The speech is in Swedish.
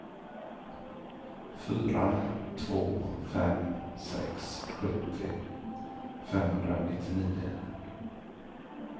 fyra två fem sex sjuttio femhundranittionio